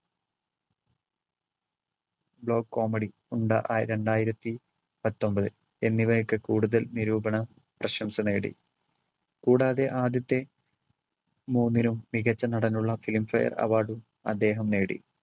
blow comedy രണ്ടായിരത്തി പത്തൊമ്പതിൽ എന്നിവയൊക്കെ കൂടുതൽ നിരൂപണ പ്രശംസ നേടി. കൂടാതെ ആദ്യത്തെ മൂന്നിലും മികച്ച നടനുള്ള film fare award ഉം അദ്ദേഹം നേടി.